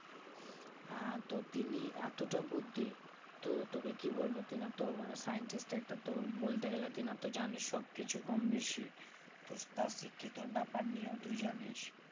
হ্যাঁ তো তিনি এতটা বুদ্ধি তো তোকে কি বলবো টানা তো মানে scientist একটা তো বলতে গেলে তেনার জানিস সব কিছু কমবেশি তো তার শিক্ষিত ব্যাপার নিয়ে তুই জানিস